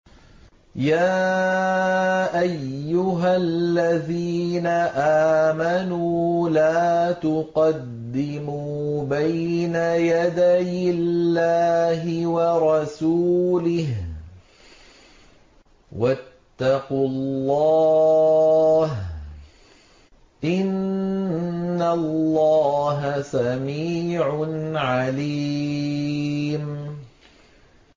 يَا أَيُّهَا الَّذِينَ آمَنُوا لَا تُقَدِّمُوا بَيْنَ يَدَيِ اللَّهِ وَرَسُولِهِ ۖ وَاتَّقُوا اللَّهَ ۚ إِنَّ اللَّهَ سَمِيعٌ عَلِيمٌ